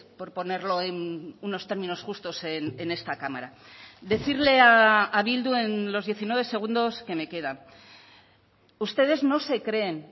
por ponerlo en unos términos justos en esta cámara decirle a bildu en los diecinueve segundos que me quedan ustedes no se creen